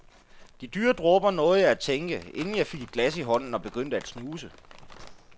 De dyre dråber, nåede jeg at tænke, inden jeg fik et glas i hånden og begyndte at snuse.